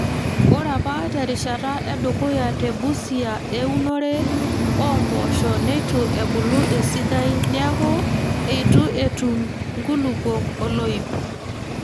Ore apa terishata edukuya te Busia eunore oo mpoosho neitu ebulu esidai neeku eitu etum nkulupuok oloip.